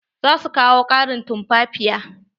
Za su kawo ƙarin tumfafiya.